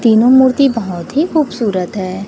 तीनों मूर्ति बहोत ही खूबसूरत है।